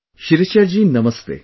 Shirisha ji namastey